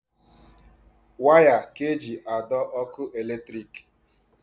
Waya ka eji adọ ọkụ eletrik.